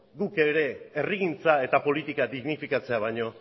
guk ere herrigintza eta politika dignifikatzea baino